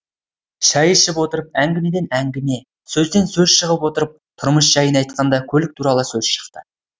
шәй ішіп отырып әңгімеден әңгіме сөзден сөз шығып отырып тұрмыс жәйін айтқанда көлік туралы сөз шықты